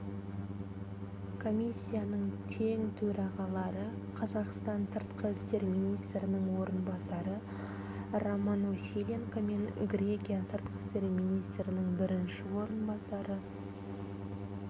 комиссияның тең-төрағалары қазақстан сыртқы істер министрінің орынбасары роман василенко мен грекия сыртқы істер министрінің бірінші орынбасары